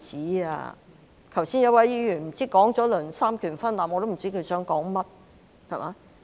剛才有一位議員提到三權分立，我不知他想說甚麼。